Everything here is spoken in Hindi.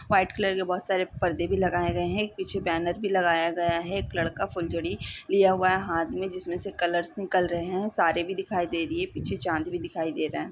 वाइट कलर के बोहोत सारे पर्दे भी लगाए गए हैं एक पीछे बैनर भी लगाया गया है एक लड़का फुलझड़ी लिया हुआ है हाथ में जिसमें से कलर्स निकल रहे है तारे भी दिखाई दे रही है पीछे चांद भी दिखाई दे रहा है।